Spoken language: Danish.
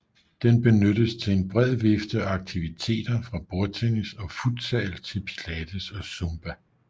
Den benyttes til en bred vifte af aktiviteter fra bordtennis og futsal til pilates og zumba